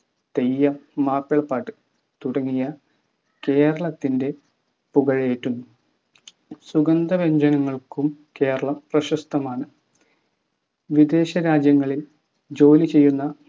തെയ്യം മാപ്പിളപാട്ട് തുടങ്ങിയ കേരളത്തിൻ്റെ പുകളേറ്റുന്നു സുഗന്ധവ്യഞ്ജനങ്ങൾക്കും കേരളം പ്രശസ്തമാണ് വിദേശരാജ്യങ്ങളിൽ ജോലി ചെയ്യുന്ന